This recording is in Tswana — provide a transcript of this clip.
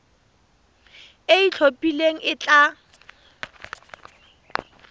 e e itlhophileng e tla